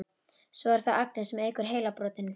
Svo er það Agnes sem eykur heilabrotin.